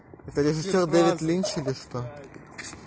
это режиссёр дэвид линч или что